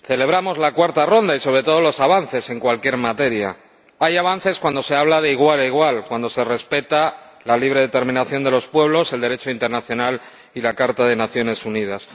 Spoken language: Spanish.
Señor Presidente, celebramos la cuarta ronda y sobre todo los avances en cualquier materia. Hay avances cuando se habla de igual a igual, cuando se respeta la libre determinación de los pueblos, el Derecho internacional y la Carta de las Naciones Unidas.